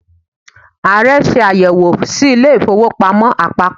Ààrẹ ṣe àyẹ̀wò sí ilé ìfowópamọ́ àpapọ̀.